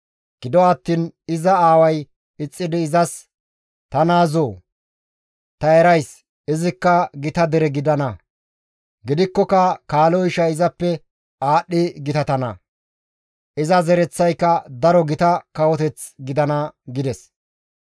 Gido attiin iza aaway ixxidi izas, «Ta naazoo! Ta erays; izikka gita dere gidana. Gidikkoka kaalo ishay izappe aadhdhi gitatana; iza zereththayka daro gita kawoteth gidana» gides.